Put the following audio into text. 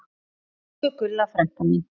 Elsku Gulla frænka mín.